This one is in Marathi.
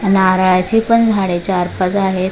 नारळाची पण झाडे चार पाच आहेत.